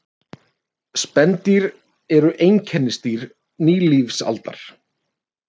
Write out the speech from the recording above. Spendýr eru einkennisdýr nýlífsaldar.